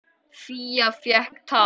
Fía fékk tak.